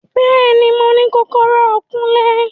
Bẹẹni, Mo ni kọkọrọ Kunle